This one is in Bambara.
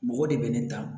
Mɔgɔ de bɛ ne ta